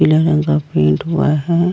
पीले रंग का पेंट हुआ है।